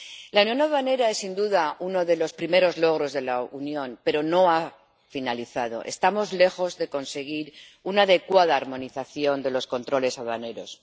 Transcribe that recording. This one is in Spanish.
La unión aduanera es, sin duda, uno de los primeros logros de la Unión, pero no ha finalizado estamos lejos de conseguir una adecuada armonización de los controles aduaneros.